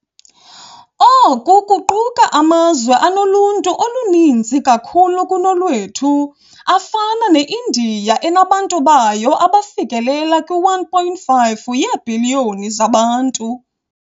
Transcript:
Oku kuquka amazwe anoluntu oluninzi kakhulu kunolwethu, afana ne-Indiya enabantu bayo abafikelela kwi-1.5 yeebhiliyoni zabantu.